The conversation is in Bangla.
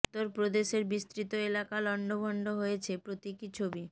উত্তরপ্রদেশের বিস্তৃত এলাকা লন্ডভন্ড হয়েছে প্রতীকী ছবি